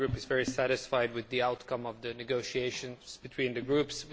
Our group is very satisfied with the outcome of the negotiations between the groups.